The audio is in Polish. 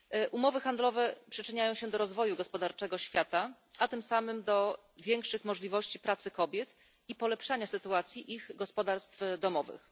Umowy handlowe przyczyniają się do rozwoju gospodarczego świata, a tym samym do większych możliwości pracy dla kobiet i poprawy sytuacji ich gospodarstw domowych.